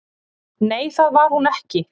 """Nei, það var hún ekki."""